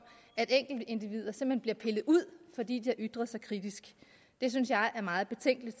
at enkeltindivider simpelt hen bliver pillet ud fordi de har ytret sig kritisk det synes jeg er meget betænkeligt